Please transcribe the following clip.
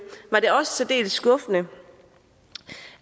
var det også særdeles skuffende